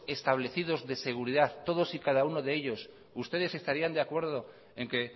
establecidos de seguridad todos y cada uno de ellos ustedes estarían de acuerdo en que